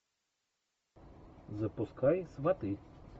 запускай сваты